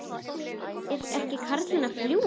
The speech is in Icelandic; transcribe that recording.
Er ekki karlinn að ljúga?